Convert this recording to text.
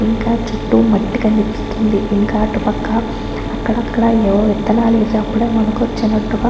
ఇంకా చుట్టూ మట్టి కనిపిస్తుందిఇంకా అటుపక్క అక్కడక్కడా ఏవో విత్తనాలు వేసి అప్పుడే మొలకొచ్చినట్టుగా --